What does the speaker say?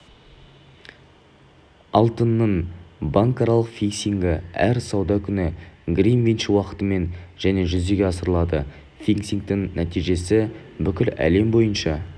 алтынның банкаралық фиксингі әр сауда күні гринвич уақытымен және жүзеге асырылады фиксингтің нәтижесі бүкіл әлем бойынша